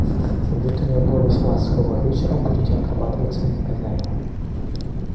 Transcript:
вид у нее был весьма суровый вечером будете отрабатывать свои наказания